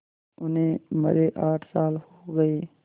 उन्हें मरे आठ साल हो गए